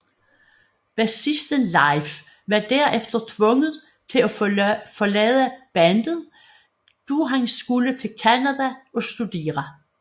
Bassisten Leif var derefter tvunget til at forlade bandet da han skulle til Canada og studere